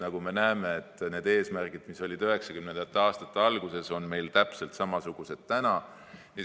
Nagu me näeme, need eesmärgid, mis olid 1990. aastate alguses, on meil täna täpselt samasugused.